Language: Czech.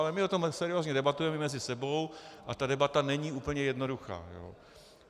Ale my o tom seriózně debatujeme mezi sebou a ta debata není úplně jednoduchá.